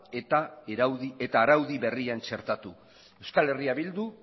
eta araudi berrian txertatu euskal herria bildu